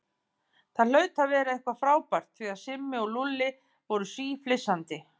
Það hlaut að vera eitthvað frábært því að Simmi og Lúlli voru síflissandi.